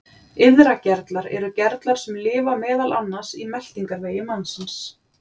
Iðragerlar eru gerlar sem lifa meðal annars í meltingarvegi mannsins.